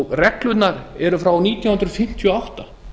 reglurnar eru frá nítján hundruð fimmtíu og átta